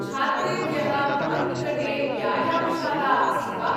छात्रेभ्यः भवन्निकटे व्यायामशाला अस्ति वा?